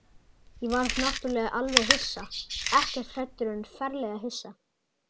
Ég varð náttúrlega alveg hissa, ekkert hræddur en ferlega hissa.